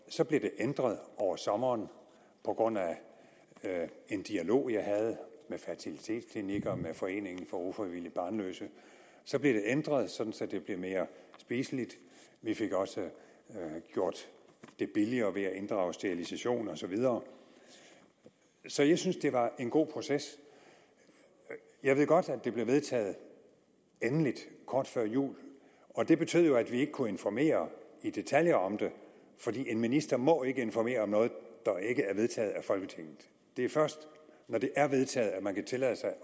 så blev det ændret over sommeren på grund af en dialog jeg havde med fertilitetsklinikker og med foreningen for ufrivilligt barnløse så blev det ændret sådan at det blev mere spiseligt vi fik også gjort det billigere ved at inddrage sterilisation og så videre så jeg synes det var en god proces jeg ved godt at det blev vedtaget endeligt kort før jul og det betød jo at vi ikke kunne informere i detaljer om det fordi ministeren ikke må informere om noget af folketinget det er først når det er vedtaget at man kan tillade sig at